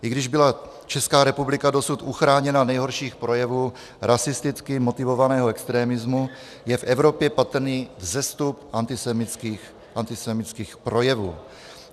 I když byla Česká republika dosud uchráněna nejhorších projevů rasisticky motivovaného extremismu, je v Evropě patrný vzestup antisemitských projevů.